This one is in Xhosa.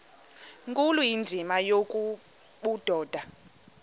nkulu indima yobudoda